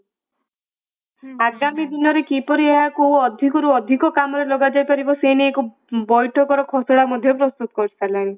ଆଗାମୀ ଦିନରେ କିପରି ଏହାକୁ ଅଧିକରୁ ଅଧିକ କାମରେ ଲଗା ଯାଇପାରିବ ସେ ନେଇ ଏକ ବୈଠକର ଘୋଷଣା ପ୍ରସ୍ତୁତ କରିସାରିଲାଣି ।